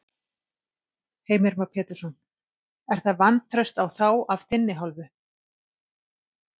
Heimir Már Pétursson: Er það vantraust á þá af þinni hálfu?